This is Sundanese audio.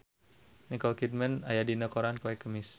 Nicole Kidman aya dina koran poe Kemis